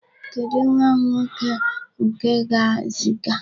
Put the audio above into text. Kedụ nwa m nwoke nke m ga-eziga?